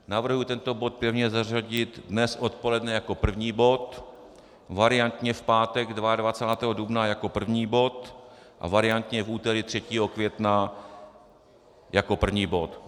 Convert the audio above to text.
Navrhuji tento bod pevně zařadit dnes odpoledne jako první bod, variantně v pátek 22. dubna jako první bod a variantně v úterý 3. května jako první bod.